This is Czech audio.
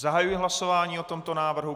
Zahajuji hlasování o tomto návrhu.